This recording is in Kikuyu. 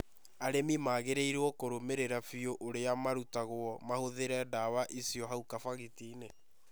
Arĩmi magĩrĩirũo kũrũmĩrĩra biũ ũrĩa marutagwo mahũthĩre ndawa icio hau kabagiti-inĩ.